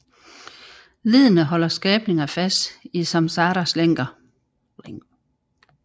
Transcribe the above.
Leddene holder skabninger fast i samsaras lænker